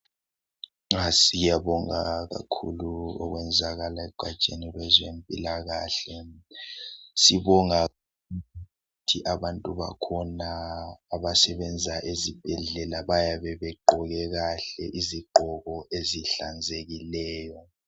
Siyabonga kakhulu okwenzakala egatsheni lwezempilakahle. Sibonga ukuthi abantu bakhona abasebenza ezibhedlela bayabe begqoke kahle izigqoko ezihlanzekileyo.